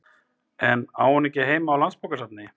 En á hún ekki heima á Landsbókasafni?